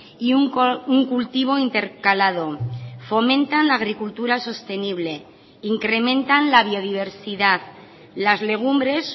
y un cultivo intercalado fomentan la agricultura sostenible incrementan la biodiversidad las legumbres